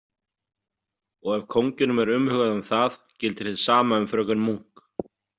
Og ef kónginum er umhugað um það gildir hið sama um fröken Munk.